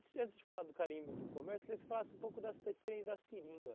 Se antes de falar do garimpo e do comércio, eu queria que você falasse um pouco das da experiência da seringa.